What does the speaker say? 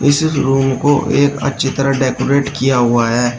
किसी रूम को एक अच्छी तरह डेकोरेट किया हुआ है।